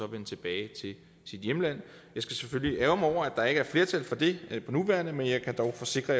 vende tilbage til sit hjemland jeg skal selvfølgelig ærgre mig der ikke er flertal for det på nuværende tidspunkt men jeg kan dog forsikre